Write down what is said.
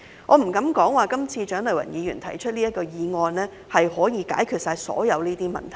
我不敢說蔣麗芸議員這次提出的議案可以解決所有問題。